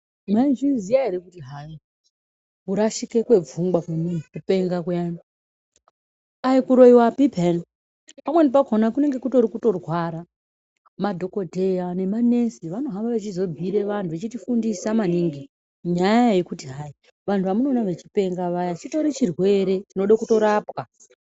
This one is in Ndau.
Mwaizviziya ere kuti hayi kurashika kwepfungwa kupenga kuyani aikuroyiwapi piyani pamweni pakona kunenge kutori kutorwara, madhokodheya nemanesi vanohamba vachizobhiira vantu vachitifundisa maningi nyaya yekuti hayi vantu vamunoona vechipenga vayani chitori chirwere chida kutorapwa.